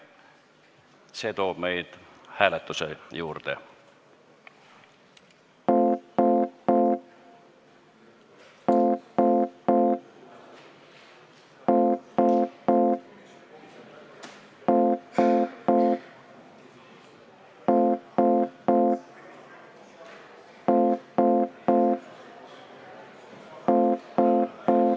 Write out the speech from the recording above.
See toob meid hääletuse juurde.